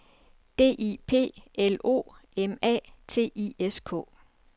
D I P L O M A T I S K